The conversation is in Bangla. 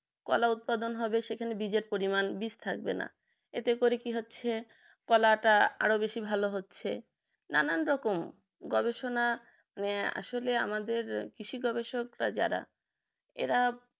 কলা উৎপাদন হবে সেখানে বীজের পরিমান বিষ থাকবে না এতে করে কি হচ্ছে কলা টা আরো বেশি ভালো হচ্ছে নানান রকম গবেষণা নিয়ে আসলে আমাদের কৃষি গবেষকরা যারা এরা